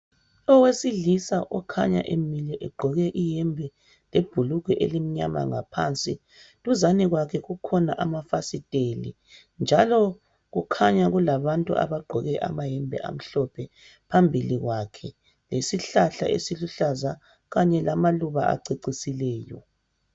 Owesilisa okhanya emile egqoke iyembe lebhulugwe elimnyama ngaphansi. Duzane kwakhe kukhona amafasiteli njalo kukhanya kulabantu abagqoke amayembe amhlophe phambili kwakhe lesihlahla esiluhlaza kanye lamaluba acecisileyo.